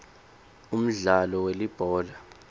umdlalo welibhola